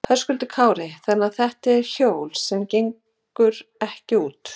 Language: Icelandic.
Höskuldur Kári: Þannig þetta eru hjól sem gengu ekki út?